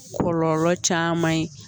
Kɔlɔlɔ caman ye